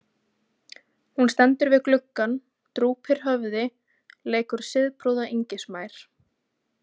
Hún stendur við gluggann, drúpir höfði, leikur siðprúða yngismær.